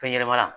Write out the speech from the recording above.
Fɛn ɲɛnɛma la